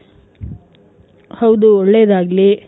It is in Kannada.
ಹೌದು ಒಳ್ಳೆದಾಗ್ಲಿ.